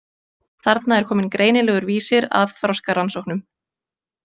Þarna er kominn greinilegur vísir að þroskarannsóknum.